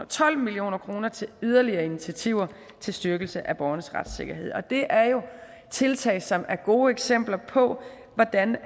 tolv million kroner til yderligere initiativer til styrkelse af borgernes retssikkerhed det er jo tiltag som er gode eksempler på hvordan